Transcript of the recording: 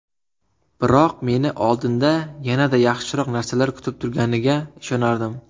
Biroq meni oldinda yanada yaxshiroq narsalar kutib turganiga ishonardim.